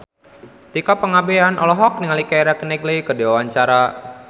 Tika Pangabean olohok ningali Keira Knightley keur diwawancara